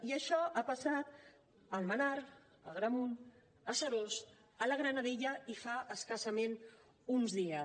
i això ha passat a almenar a agramunt a seròs a la granadella i fa escassament uns dies